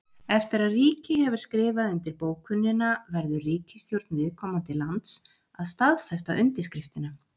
Eftir að ríki hefur skrifað undir bókunina verður ríkisstjórn viðkomandi lands að staðfesta undirskriftina.